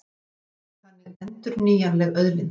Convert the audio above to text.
Skógurinn er þannig endurnýjanleg auðlind.